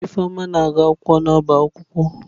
Ifeoma na-agu akwụkwọ n'ọbá akwukwo.